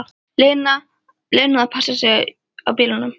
Lenu að passa sig á bílunum.